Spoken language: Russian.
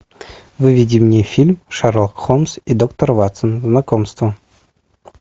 выведи мне фильм шерлок холмс и доктор ватсон знакомство